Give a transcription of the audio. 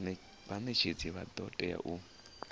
vhanetshedzi vha do tea u